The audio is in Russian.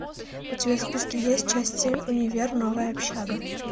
у тебя в списке есть часть семь универ новая общага